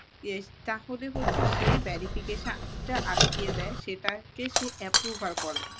তাহলে হচ্ছে সে verification টা আটকিয়ে দেয় সেটাকে সে approval করে না